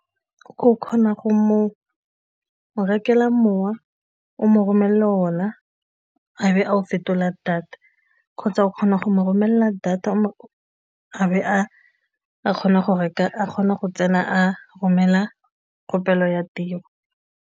O kgona go mo rekela mowa, o mo romelela ona, a be a o fetola data kgotsa o kgona go mo romelela data a be a kgona go tsena a romela kgopelo ya tiro.